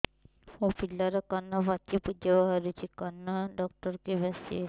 ମୋ ପିଲାର କାନ ପାଚି ପୂଜ ବାହାରୁଚି କାନ ଡକ୍ଟର କେବେ ଆସିବେ